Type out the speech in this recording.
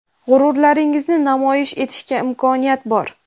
g‘ururlaringizni namoyish etishga imkoniyat bor.